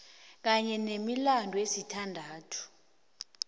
kanye nemilandu esithandathu